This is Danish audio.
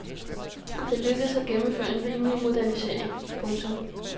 Det lykkedes at gennemføre en rimelig modernisering. punktum